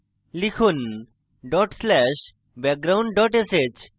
লিখুন dot slash background dot sh